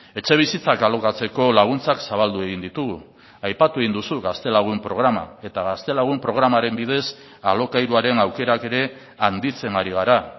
etxebizitzak alokatzeko laguntzak zabaldu egin ditugu aipatu egin duzu gaztelagun programa eta gaztelagun programaren bidez alokairuaren aukerak ere handitzen ari gara